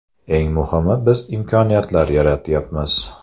Eng muhimi biz imkoniyatlar yaratyapmiz.